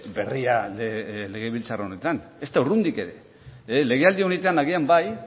berria legebiltzar honetan ezta urrundik ere legealdi honetan agian bai